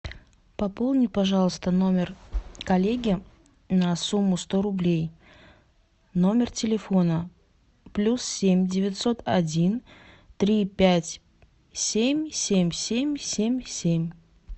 пополни пожалуйста номер коллеги на сумму сто рублей номер телефона плюс семь девятьсот один три пять семь семь семь семь семь